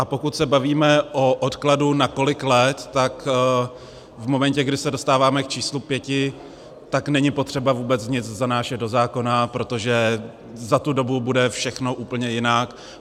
A pokud se bavíme o odkladu na kolik let, tak v momentu, kdy se dostáváme k číslu pěti, tak není potřeba vůbec nic zanášet do zákona, protože za tu dobu bude všechno úplně jinak.